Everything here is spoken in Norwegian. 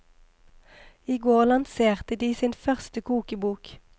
I går lanserte de sin første kokebok.